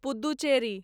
Puducherry